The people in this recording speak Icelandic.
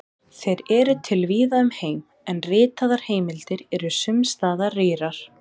Þeir eru til víða um heim, en ritaðar heimildir eru sums staðar rýrar.